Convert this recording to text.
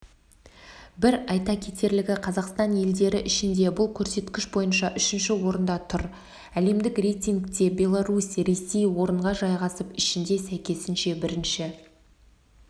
бір айта кетерлігі қазақстан елдері ішінде бұл көрсеткіш бойынша үшінші орында тұр әлемдік рейтингте беларусь ресей орынға жайғасып ішінде сәйкесінше бірінші